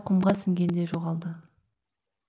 құмға сіңгендей жоғалады